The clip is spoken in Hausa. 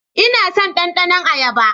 Ina son ɗandanon ayaba.